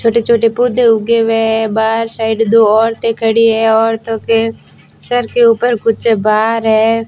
छोटे छोटे पौधे उगे हुए है बाहर साइड दो औरतें खड़ी है औरते के सर के ऊपर कुछ भार है।